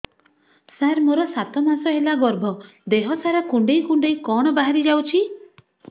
ସାର ମୋର ସାତ ମାସ ହେଲା ଗର୍ଭ ଦେହ ସାରା କୁଂଡେଇ କୁଂଡେଇ କଣ ବାହାରି ଯାଉଛି